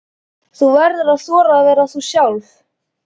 Þú verður að þora að vera þú sjálf.